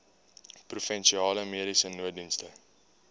provinsiale mediese nooddienste